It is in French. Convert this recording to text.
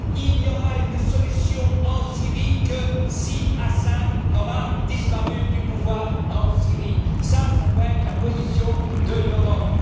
Il n'y aura une solution en Syrie que si Assad disparaît du pouvoir en Syrie, voilà quelle doit être la position de l'Europe.